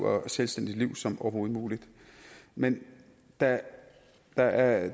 og selvstændigt liv som overhovedet muligt men da der er